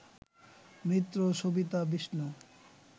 Mitra, Savita, Vishnu